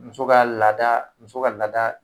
Muso ka laada muso ka laada